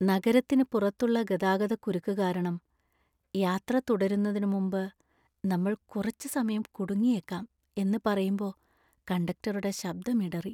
നഗരത്തിന് പുറത്തുള്ള ഗതാഗതക്കുരുക്ക് കാരണം യാത്ര തുടരുന്നതിന് മുമ്പ് നമ്മൾ കുറച്ച് സമയം കുടുങ്ങിയേക്കാം എന്ന് പറയുമ്പോ കണ്ടക്ടറുടെ ശബ്ദം ഇടറി.